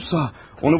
Hələ sağ.